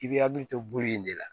I bɛ hakili to bulu in de la